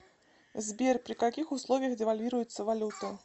сбер при каких условиях девальвируется валюта